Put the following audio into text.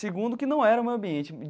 Segundo, que não era o meu ambiente.